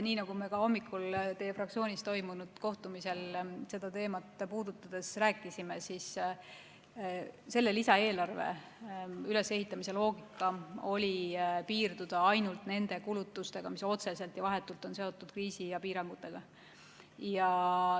Nii nagu me hommikul teie fraktsioonis toimunud kohtumisel seda teemat puudutades rääkisime, oli selle lisaeelarve ülesehitamise loogika piirduda ainult nende kulutustega, mis on otseselt ja vahetult seotud kriisi ja piirangutega.